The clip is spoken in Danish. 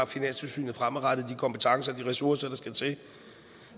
finanstilsynet fremadrettet har de kompetencer og de ressourcer der skal til og